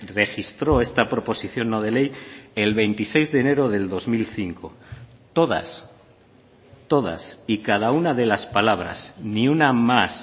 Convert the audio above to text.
registró esta proposición no de ley el veintiséis de enero del dos mil cinco todas todas y cada una de las palabras ni una más